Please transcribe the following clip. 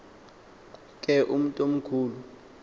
ke umntu omkhulu